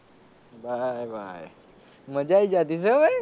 ભાઈ ભાઈ મજા આયી જતી હશે ભાઈ.